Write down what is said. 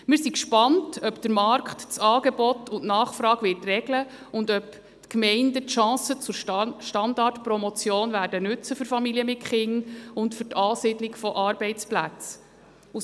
Wir sind gespannt, ob der Markt das Angebot und die Nachfrage regeln wird und ob die Gemeinden die Chancen zur Standortpromotion für Familien mit Kindern und für die Ansiedlung von Arbeitsplätzen nutzen werden.